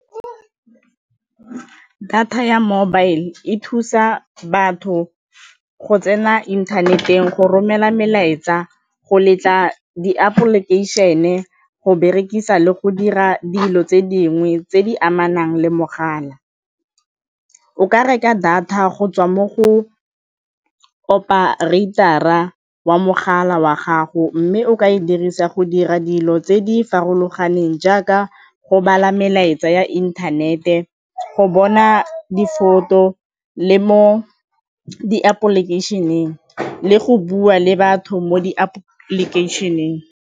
Data ya mobile e thusa batho go tsena internet-eng, go romela melaetsa, go letla di-application-e, go berekisa le go dira dilo tse dingwe tse di amanang le mogala. O ka reka data go tswa mo go oparator-ra wa mogala wa gago mme o ka e dirisa go dira dilo tse di farologaneng jaaka go bala melaetsa ya inthanete, go bona di-photo le mo di-application-eng le go bua le batho mo di-application-eng.